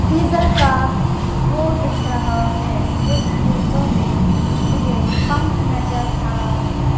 diesel का वो दिख रहा है इस फोटो में मुझे पंप नजर आ रहे--